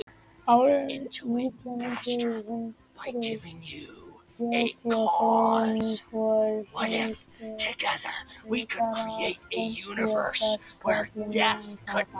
árið nítján hundrað fjörutíu og fimm voru hlutar af fimmtíu og sex köflum jónsbókar í lagasafninu